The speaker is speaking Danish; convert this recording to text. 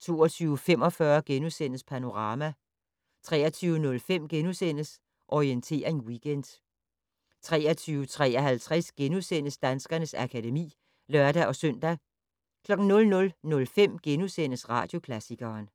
* 22:45: Panorama * 23:05: Orientering Weekend * 23:53: Danskernes akademi *(lør-søn) 00:05: Radioklassikeren *